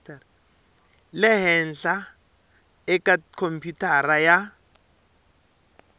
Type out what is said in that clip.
le henhla eka khompyutara ya